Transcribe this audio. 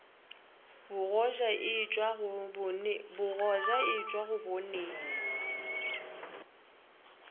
bogoja e tšwa go boneng